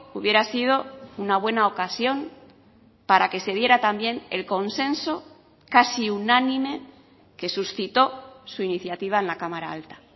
hubiera sido una buena ocasión para que se diera también el consenso casi unánime que suscitó su iniciativa en la cámara alta